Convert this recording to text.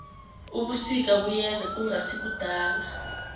ubusika buyeza kungasikudala